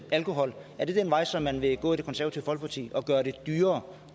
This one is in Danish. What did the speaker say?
alkohol er det den vej som man vil gå i det konservative folkeparti